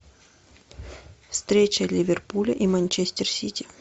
встреча ливерпуля и манчестер сити